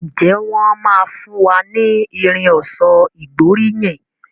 Njé wón má fún wá ní Irin ọ̀ṣọ́ ìgbóríyìn?